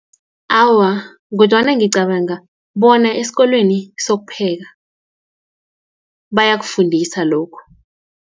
Awa, kodwana ngicabanga, bona esikolweni sokupheka bayakufundisa lokho.